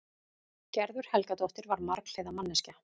Gerður Helgadóttir var marghliða manneskja.